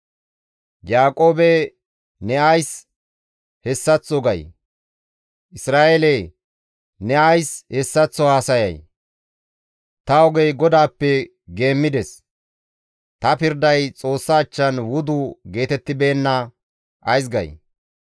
Yaaqoobe ne ays hessaththo gay? Isra7eele ne ays hessaththo haasayay? «Ta ogey GODAAPPE geemmides; ta pirday Xoossa achchan wudu geetettibeenna» ays gay?